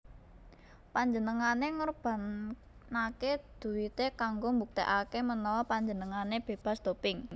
Panjenengane ngorbanake duite kanggo mbuktekake menawa panjenengane bebas doping